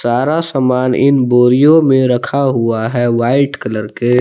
सारा समान इन बोरियो में रखा हुआ है वाइट कलर के।